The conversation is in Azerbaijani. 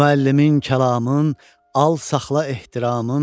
Müəllimin kəlamın, al saxla ehtiramın.